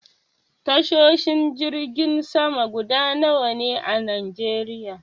Tashoshin jirgin sama guda nawa ne a najeriya?